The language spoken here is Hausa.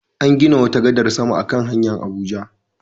An gina wata gadar sama a kan hanyar Abuja.